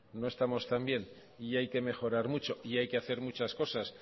no estamos tan bien y hay que mejorar mucho y hay que hacer muchas cosas